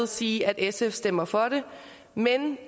sige at sf stemmer for det men